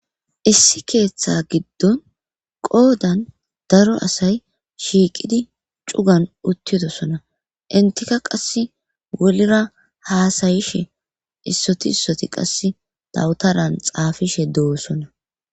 Issi keeththa giddon qoodan daro asay shiiqidi cugan uttidosona intika qass wolira haasayishe issoti issoti qass dawutaran xaafishe doosona.